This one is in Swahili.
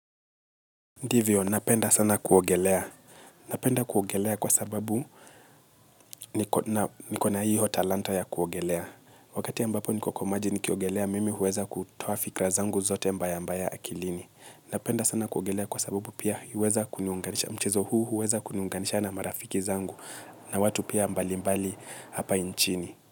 Ndivyo, napenda sana kuogelea. Napenda kuogelea kwa sababu niko na hiyo talanta ya kuogelea. Wakati ambapo niko kwa maji nikiogelea, mimi huweza kutoa fikra zangu zote mbaya mbaya akilini. Napenda sana kuogelea kwa sababu pia huweza kuniunganisha mchezo huu huweza kuniunganisha na marafiki zangu na watu pia mbali mbali hapa inchini.